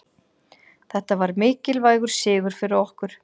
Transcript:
Þetta var mikilvægur sigur fyrir okkur